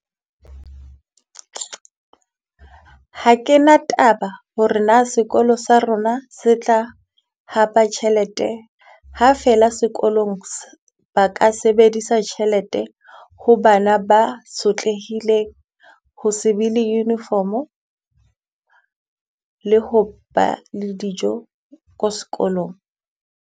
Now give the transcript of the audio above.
Ha ke na taba ho re na sekolo sa rona se tla hapa tjhelete, ha feela sekolong ba ka se sebedisa tjhelete ho bana ba sotlehileng. Ho se be le uniform-o, le ho ba le dijo ko sekolong.